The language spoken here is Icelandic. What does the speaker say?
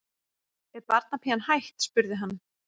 Er barnapían hætt? spurði hann.